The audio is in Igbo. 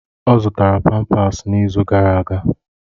Ọ zụtara pampasi n'izu gara aga.